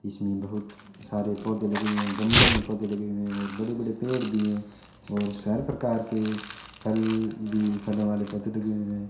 इसमें बहुत सारे पौधे लगे हुए है गमलो मे पौधे लगे हुए हैं और बड़े बड़े पेड़ भी है और सारे प्रकार के फल भी फलों वाले पौधे लगे हुए हैं।